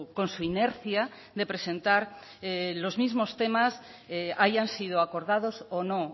con su inercia de presentar los mismos temas hayan sido acordados o no